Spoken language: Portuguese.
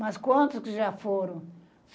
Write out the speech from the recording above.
Mas quantos que já foram?